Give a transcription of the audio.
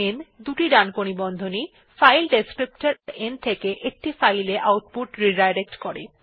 n দুটি ডানকোণী বন্ধনী ও ফাইল বর্ণনাকারী n থেকে একটি ফাইল এ আউটপুট পুননির্দেশনা করে